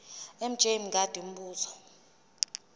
mj mngadi umbuzo